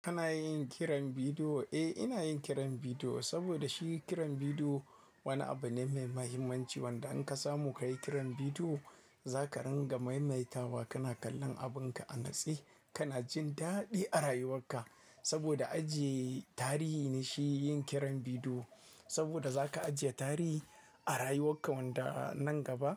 Kana yin kiran bidiyo? Eh, ina yin kiran bidiyo saboda shi kiran bidiyo wani abu ne mai mahimmanci wanda in ka samu kayi kiran bidiyo za ka ringa maimaita wa kana kallon abin ka a natse, kana jin daɗi a rayuwar ka. Saboda ajiye tarihi ne shi yin kiran bidiyo saboda za ka ajiye tarihi a rayuwar ka wanda nan gaba